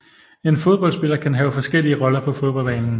En fodboldspiller kan have forskellige roller på fodboldbanen